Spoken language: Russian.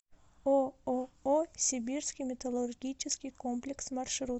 ооо сибирский металлургический комплекс маршрут